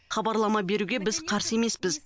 хабарлама беруге біз қарсы емеспіз